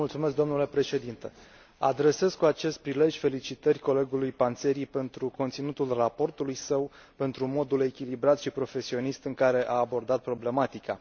Domnule președinte, adresez cu acest prilej felicitări colegului Panzeri pentru conținutul raportului său, pentru modul echilibrat și profesionist în care a abordat problematica.